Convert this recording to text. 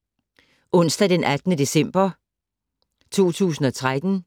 Onsdag d. 18. december 2013